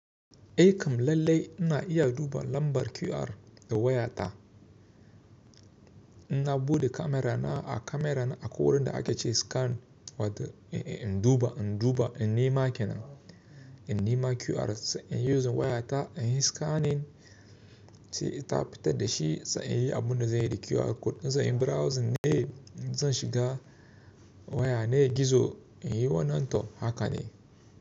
Aikam lallai ina iya duba lambar QR da wayata. Ina buɗe kamera na a kamera na a ko wurin da ake ce scan wata in duba, in duba, in nema kenan, in nema QR sa in yi using wayata in yi scanning. Sai ita ba ta dashi sa in yi abun da zai yi da QR code. In za in browse ne, zan shiga waya ne gizo in yi wannan to haka ne.